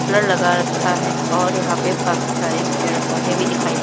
लगा रखा है और यहां पे काफ़ी सारे पेड़ पौधे भी दिखाई--